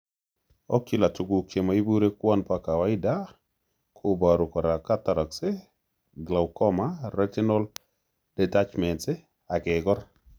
Ocular Tuguk chemoipure kouwan po kawaida ko poru kora cataracts, glaucoma, retinal detachments, ak Kegor